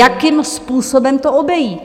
... jakým způsobem to obejít.